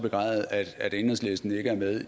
begræde at enhedslisten ikke er med